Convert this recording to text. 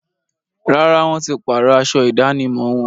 Rárá, wọ́n ti páàrọ̀ aṣọ ìdánimọ̀ wọn